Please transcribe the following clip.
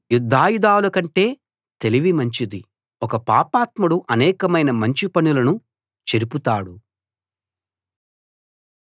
యుద్ధాయుధాల కంటే తెలివి మంచిది ఒక పాపాత్ముడు అనేకమైన మంచి పనులను చెరుపుతాడు